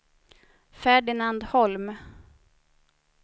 Ferdinand Holm